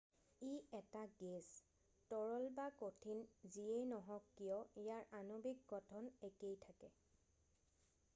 ই এটা গেছ তৰল বা কঠিন যিয়েই নহওক কিয় ইয়াৰ আণৱিক গঠন একেই থাকে